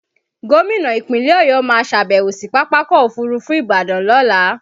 Gómìnà Ìpínlẹ̀ Ọ̀yọ́ máa ṣàbẹ̀wó sí Pápákọ̀ Òfurufú Ìbàdàn lọ́la.